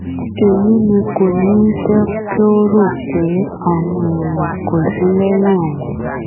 èyí ni kò ní í jẹ́ kó rò pé àwọn èèyàn kò sí lẹ́yìn òun